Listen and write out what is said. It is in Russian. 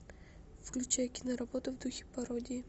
включай киноработу в духе пародии